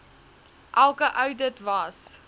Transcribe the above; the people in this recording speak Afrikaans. elke oudit was